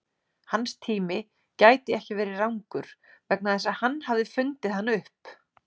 Hans tími gæti ekki verið rangur vegna þess að hann hafði fundið hann upp.